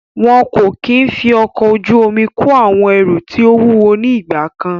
Wọn kò kí ń fi ọkọ̀ ojú omi kó àwọn ẹrù tí ó wúwo ní ìgbà kan.